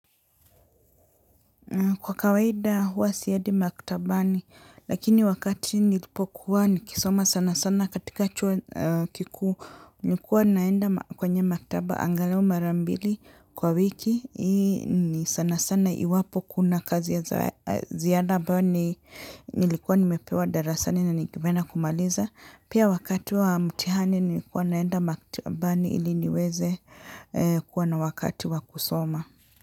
Kwa kawaida huwa siendi maktabani lakini wakati nilipokuwa nikisoma sana sana katika chuo kikuu nilikuwa naenda kwenye maktaba angalau mara mbili kwa wiki ni sana sana iwapo kuna kazi ya ziada ambayo nilikuwa nimepewa darasani na nimeenda kumaliza pia wakati wa mtihani nilikuwa naenda maktabani ili niweze kuwa na wakati wa kusoma.